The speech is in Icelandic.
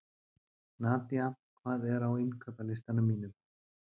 Nadía, hvað er á innkaupalistanum mínum?